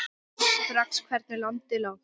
Sá strax hvernig landið lá.